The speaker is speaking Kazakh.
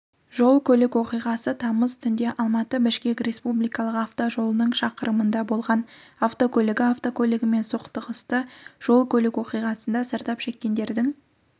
жол-көлік оқиғасы тамыз түнде алматы-бішкек республикалық автожолының шақырымында болған автокөлігі автокөлігімен соқтығысты жол-көлік оқиғасында зардап шеккендердің